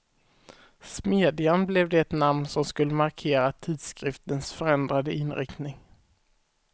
Smedjan blev det namn som skulle markera tidskriftens förändrade inriktning.